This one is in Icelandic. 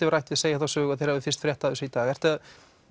hef rætt við segja þá sögu að þeir hafi fyrst frétt af þessu í dag ertu að